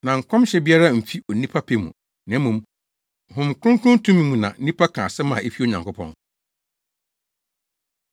Na nkɔmhyɛ biara mfi onipa pɛ mu, na mmom, Honhom Kronkron tumi mu na nnipa ka asɛm a efi Onyankopɔn.